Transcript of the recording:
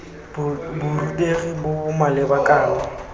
borutegi bo bo maleba kana